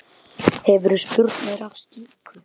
Hefurðu spurnir af slíku?